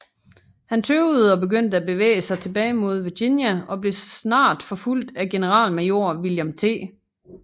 Han tøvede og begyndte at bevæge sig tilbage mod Virginia og blev snart forfulgt af generalmajor William T